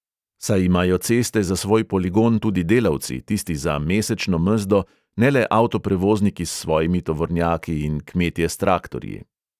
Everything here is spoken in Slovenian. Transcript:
Saj imajo ceste za svoj poligon tudi delavci, tisti za mesečno mezdo, ne le avtoprevozniki s svojimi tovornjaki in kmetje s traktorji.